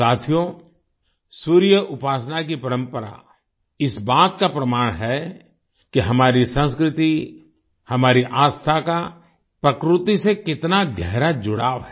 साथियो सूर्य उपासना की परंपरा इस बात का प्रमाण है कि हमारी संस्कृति हमारी आस्था का प्रकृति से कितना गहरा जुड़ाव है